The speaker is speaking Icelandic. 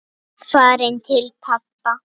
Farin til pabba.